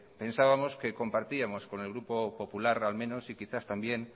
pensábamos que compartíamos con el grupo popular al menos y quizás también